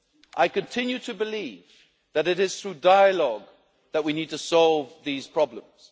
sphere. I continue to believe that it is through dialogue that we need to solve these problems.